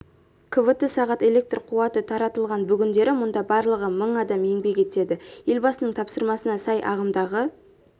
квт сағат электр қуаты таратылған бүгіндері мұнда барлығы мың адам еңбек етеді елбасының тапсырмасына сай ағымдағы